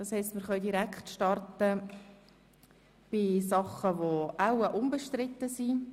Das heisst, wir können mit denjenigen Artikeln starten, die wahrscheinlich unbestritten sind.